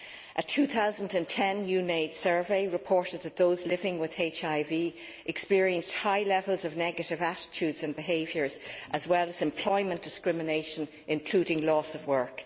A 2010 UNAIDS survey reported that those living with HIV experienced high levels of negative attitudes and behaviours, as well as employment discrimination, including loss of work.